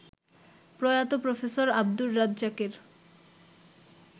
প্রয়াত প্রফেসর আব্দুর রাজ্জাকের